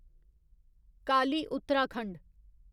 Kali Uttarakhand